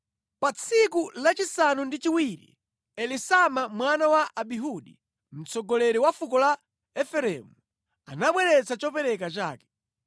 Pa tsiku lachisanu ndi chiwiri Elisama mwana wa Amihudi, mtsogoleri wa fuko la Efereimu, anabweretsa chopereka chake.